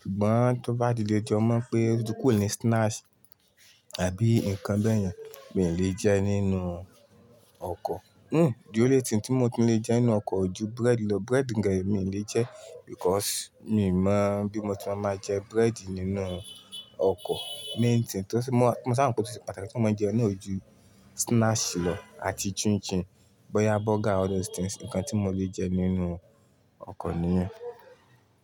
Ṣùgbọ́n tó bá ti lé jọ, mo mọ pé o ti kùrò ni snacks tàbí nǹkan bẹ́ẹ̀ yẹn mi ò lè jẹ nínú ọkọ̀. Hmm, dí ónlé tiǹ tí mo tún lè jẹ nínú ọkọ̀ o ju bread lọ. Bread gẹ́gẹ́ mi ò lè jẹ because mi ò mọ̀ bí mo ti máa máa jẹ bread nínú ọkọ̀. Main thing tí ó ṣe-- mo, mo sá à mọ̀ pé ó ṣe pàtàkì tí mo máa ń jẹun náà ojú snacks lọ àti chin chin, bọ́yá burger, all those things, nǹkan tí mo lè jẹ nínú ọkọ̀ nìyẹn.